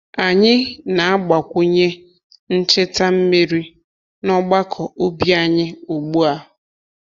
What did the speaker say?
Anyị na-agbakwunye ncheta mmiri n’ọgbakọ ubi anyị ugbu a.